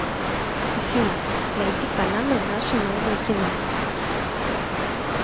афина найди каналы наше новое кино